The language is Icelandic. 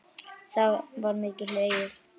þá var mikið hlegið.